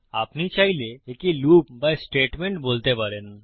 আপনি চাইলে একে লুপ বা স্টেটমেন্ট বলতে পারেন